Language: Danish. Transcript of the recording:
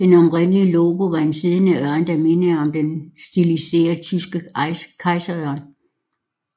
Det oprindelige logo var en siddende ørn der mindede om den stiliserede tyske kejserørn